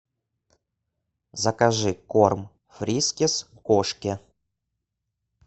закажи корм фрискис кошке